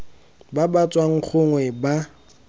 ba ba tswang gongwe ba